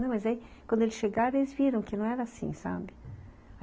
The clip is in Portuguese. Não, mas aí, quando eles chegaram, eles viram que não era assim, sabe?